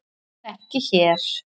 En ekki hér.